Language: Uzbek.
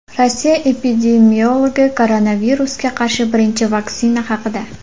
Rossiya epidemiologi koronavirusga qarshi birinchi vaksina haqida.